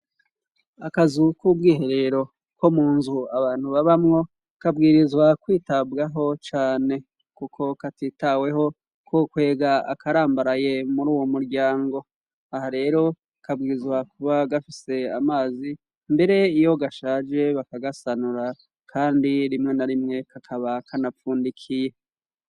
Akazu k'ubwiherero ko mu nzu abantu babamwo kabwirizwa kwitabwaho cane kuko katitaweho ko kwega akarambaraye muri uwo muryango aha rero kabwirizwa kuba gafise amazi mbere iyo gashaje bakagasanura kandi rimwe na rimwe kakaba kanapfundikiye